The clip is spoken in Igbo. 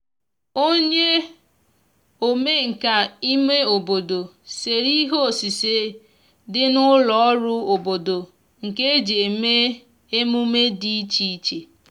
onye omenka ime obodo sere ihe osise di n'ulo ọrụ obodo nke eji eme -emume idi iche iche